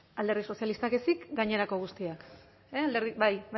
alderdi sozialistak ezik gainerako guztiek bai